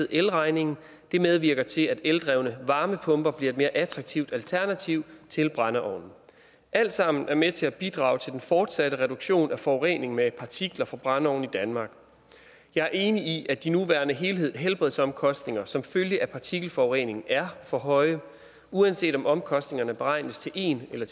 elregningen det medvirker til at eldrevne varmepumper bliver et mere attraktivt alternativ til brændeovne alt sammen er med til at bidrage til den fortsatte reduktion af forurening med partikler fra brændeovne i danmark jeg er enig i at de nuværende helbredsomkostninger som følge af partikelforurening er for høje uanset om omkostningerne beregnes til en eller